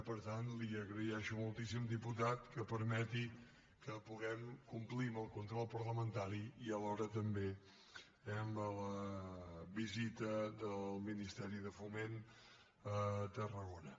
per tant li agraeixo moltíssim diputat que permeti que puguem complir el control parlamentari i alhora també amb la visita del ministeri de foment a tarragona